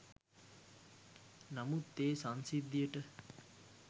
නමුත් ඒ සංසිද්ධියට